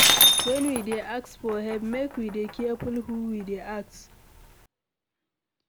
When we dey ask for help make we dey careful who we dey ask